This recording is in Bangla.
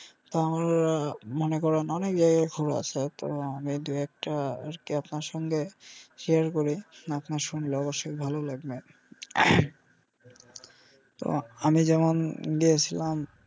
তাহলে মনে করেন আমি যে ভালো আছি এতো আমি দু একটা আর কি আপনার সঙ্গে share করি আপনার শুনলে অবশ্যই ভালো লাগবে তো আমি যেমন গিয়েসিলাম.